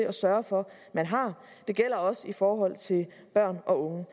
at sørge for man har det gælder også i forhold til børn og unge